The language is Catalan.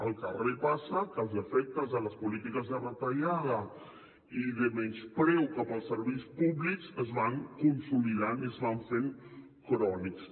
al carrer passa que els efectes de les polítiques de retallada i de menyspreu cap als serveis públics es van consolidant i es van fent crònics